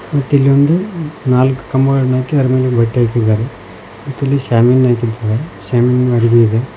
ಮತ್ತೆ ಇಲ್ಲಿ ಒಂದು ನಾಲ್ಕು ಕಂಬಗಳನ್ನು ಹಾಕಿ ಅದರ ಮೇಲೆ ಬಟ್ಟೆ ಹಾಕಿದ್ದಾರೆ ಮತ್ತೆ ಇಲ್ಲಿ ಶಾಮಿಯಾನ ಹಾಕಿದ್ದಾರೆ ಶಾಮಿಯಾನ ಅರಬಿ ಇದೆ.